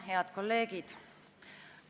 Head kolleegid!